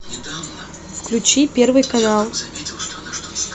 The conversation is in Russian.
включи первый канал